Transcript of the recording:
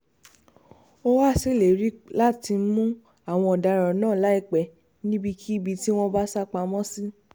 ó wàá ṣèlérí láti mú àwọn ọ̀daràn náà láìpẹ́ níbikíbi tí wọ́n bá sá pamọ́ sí